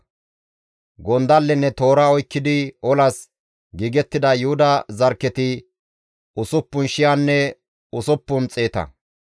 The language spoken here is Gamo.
Gondallenne toora oykkidi olas giigettida Yuhuda zarkketi usuppun shiyanne osppun xeeta.